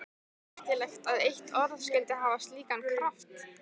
Merkilegt að eitt orð skyldi hafa slíkan kraft.